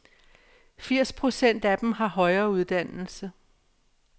Firs procent af dem har højere uddannelse.